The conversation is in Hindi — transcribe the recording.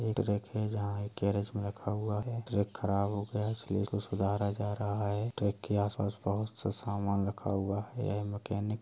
एक रैक है जहां एक गैरेज में रखा हुआ है। ट्रक खराब हो गया है इसलिए उसको सुधारा जा रहा है ट्रक के आस-पास बहुत सा सामान रखा हुआ है। यह मकैनिक --